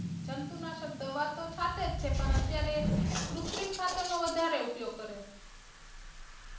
જંતુનાશક દવા તો છાંટે છે પણ અત્યારે કુત્રિમ ખાતર નો વધારે ઉપયોગ કરે